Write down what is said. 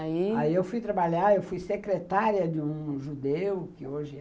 Aí eu fui trabalhar, eu fui secretária de um judeu, que hoje é...